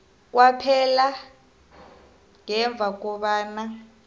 kwaphela ngemva kobana